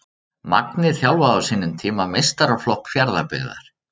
Magni þjálfaði á sínum tíma meistaraflokk Fjarðabyggðar.